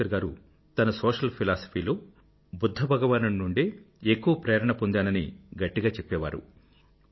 అంబేద్కర్ గారు తన social philosophy లో బుధ్ధ భగవానుడి నుండే ఎక్కువ ప్రేరణ ఉందని గట్టిగా చెప్పేవారు